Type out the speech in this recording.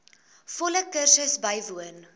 volle kursus bywoon